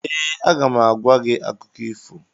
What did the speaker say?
Ee, aga m agwa gị akụkọ ifo.